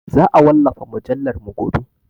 Za a wallafa mujallarmu gobe.